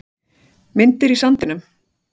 Myndir í sandinum